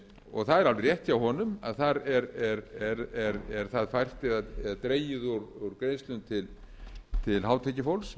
og það er alveg rétt hjá honum að þar er það fært eða dregið úr greiðslum til hátekjufólks